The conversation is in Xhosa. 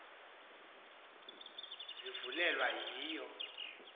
azibiwanga zivulelwe yiyo